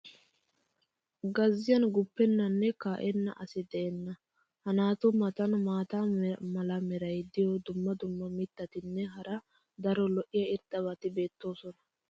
Gazziyan guppennanne kaa'enna asi de'enna. ha naatu matan maata mala meray diyo dumma dumma mitatinne hara daro lo'iya irxxabati beetoosona.